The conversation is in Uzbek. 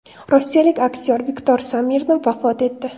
Rossiyalik aktyor Viktor Smirnov vafot etdi.